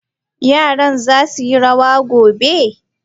Yara za su yi rawa gobe?